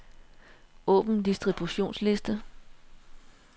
Åbn distributionsliste.